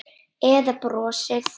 Eða brosið?